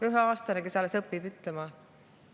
Üheaastane, kes alles õpib.